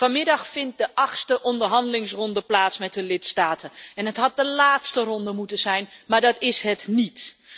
Vanmiddag vindt de achtste onderhandelingsronde plaats met de lidstaten en het had de laatste ronde moeten zijn, maar dat is het niet.